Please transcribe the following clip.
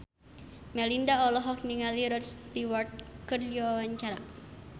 Melinda olohok ningali Rod Stewart keur diwawancara